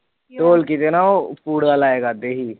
ਢੋਲਕੀ ਦੇ ਨਾ ਉਹ ਲਾਇਆ ਕਰਦੇ ਸੀ